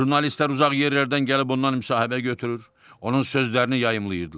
Jurnalistlər uzaq yerlərdən gəlib ondan müsahibə götürür, onun sözlərini yayımlayırdılar.